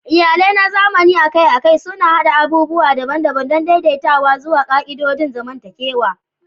Iyalai na zamani akai-akai suna haɗa abubuwa daban-daban don daidaitawa zuwa ƙa'idodin zamantakewa.